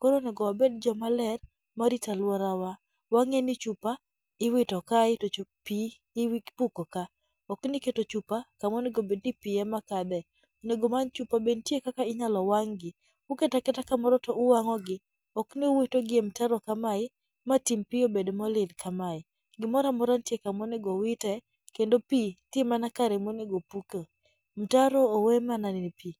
Koro onego wabed joma ler ma rito alworawa. Wang'eni chupa iwito kae to chup pi iwit ipuko ka. Okni iketo chupa kuma onego bed ni pi ema kadhe. Onego omanychupa be ntie kaka inyalo wang'gi. Uketa keta kamoro to uwang'ogi, ok ni uwitogi e mtaro kamae ma tim pi obed molil kamae. Gimoro amora ntie kama onego owite kendo pi ntie mana kare monego opuke. Mtaro owe mana ne pi.